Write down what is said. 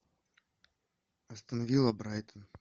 астон вилла брайтон